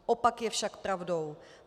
Opak je však pravdou.